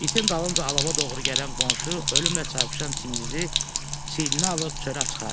İtin dalınca alova doğru gələn qonşu ölümlə çarpışan Çingizi çiyninə alıb çölə çıxardı.